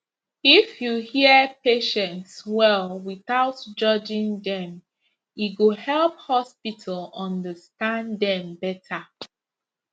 if you hear patients well without judging dem e go help hospital understand dem better